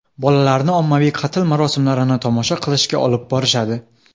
Bolalarni ommaviy qatl marosimlarini tomosha qilishga olib borishadi.